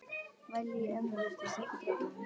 Vælið í ömmu virtist ekki trufla hann.